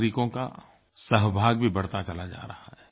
नागरिकों का सहभाग भी बढ़ता चला जा रहा है